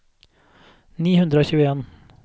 ni hundre og tjueen